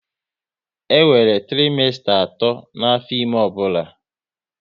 E nwere trimesta atọ n'afọ ime ọbụla